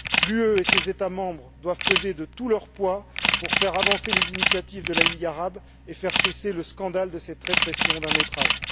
L'UE et ses États membres doivent peser de tout leur poids pour faire avancer les initiatives de la Ligue arabe et faire cesser le scandale de cette répression d'un autre âge.